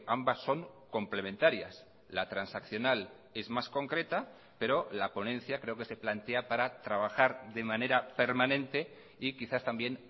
ambas son complementarias la transaccional es más concreta pero la ponencia creo que se plantea para trabajar de manera permanente y quizás también